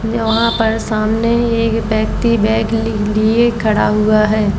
ये वहा पर सामने ये व्यक्ति बैग लि लिए खड़ा हुआ है।